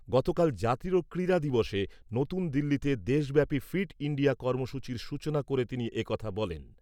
গতকাল জাতীয় ক্রীড়া দিবসে নতুন দিল্লিতে দেশব্যাপী ফিট ইণ্ডিয়া কর্মসূচীর সূচনা করে তিনি একথা বলেন।